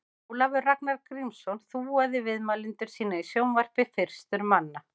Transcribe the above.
Ólafur Ragnar Grímsson þúaði viðmælendur sína í sjónvarpi fyrstur manna.